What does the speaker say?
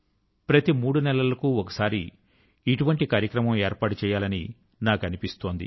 ప్రతి మూడు నెలల కు ఒకసారి ఇటువంటి కార్యక్రమం ఏర్పాటు చేయాలని నాకు అనిపిస్తుంది